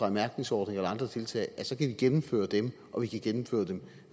en mærkningsordning eller andre tiltag at vi så kan gennemføre dem og at vi kan gennemføre dem